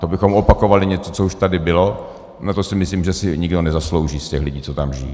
To bychom opakovali něco, co už tady bylo, a to si myslím, že si nikdo nezaslouží z těch lidí, co tam žijí.